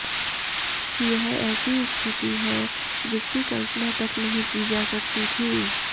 यह ऐसी स्थिति है जिसकी कल्पना तक नहीं की जा सकती थी